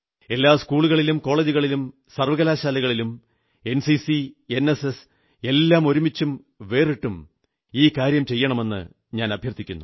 എല്ലാ സ്കൂളുകളിലും കോളജുകളിലും സർവ്വകലാശാലകളിലും എൻസിസി എൻഎസ്എസ് എല്ലാം ഒരുമിച്ചും വേറിട്ടും ഈ കാര്യം ചെയ്യണമെന്നു ഞാനഭ്യർഥിക്കുന്നു